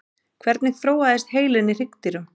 hvernig þróaðist heilinn í hryggdýrum